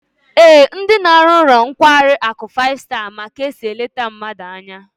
Ee, ndi na-aru n'ulo nkwari aku five star ma ka esi elete mmadu anya